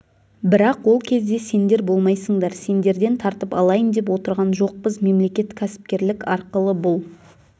бірақ ол кезде сендер болмайсыңдар сендерден тартып алайын деп отырған жоқпыз мемлекет кәсіпкерлік арқылы бұл